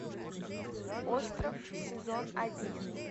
остров сезон один